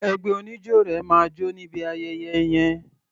Ẹgbẹ́ oníjó rẹ máa jó níbi ayẹyẹ yẹn.